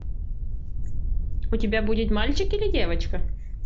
у тебя будет мальчик или девочка